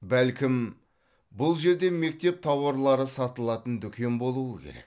бәлкім бұл жерде мектеп тауарлары сатылатын дүкен болуы керек